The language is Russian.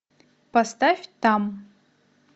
поставь там